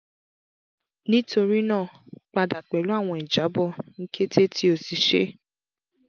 nitorinaa pada pẹlu awọn ijabọ ni kete ti o ti ṣe